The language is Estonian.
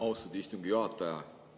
Austatud istungi juhataja!